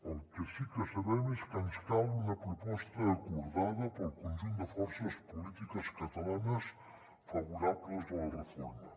el que sí que sabem és que ens cal una proposta acordada pel conjunt de forces polítiques catalanes favorables a la reforma